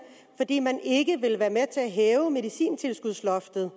fordi man ikke ville være med til at hæve medicintilskudsloftet